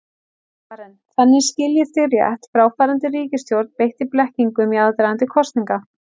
Karen: Þannig, skil ég þig rétt, fráfarandi ríkisstjórn beitti blekkingum í aðdraganda kosninga?